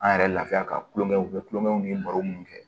An yɛrɛ lafiya ka tulonkɛw kɛ kulonkɛw ni baro munnu kɛ